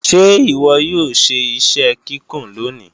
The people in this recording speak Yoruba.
Ṣé ìwọ yóò ṣe iṣẹ kíkùn lóní?